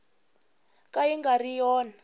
ka yi nga ri yona